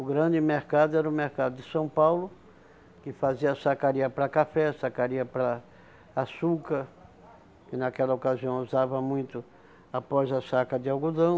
O grande mercado era o mercado de São Paulo, que fazia sacaria para café, sacaria para açúcar, que naquela ocasião usava muito após a saca de algodão.